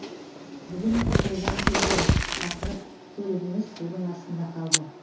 бүгін жолдан келгем шақырып көлігіңіз судың астында қалды